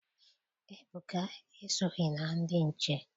Ebuka esoghị na ndị nche.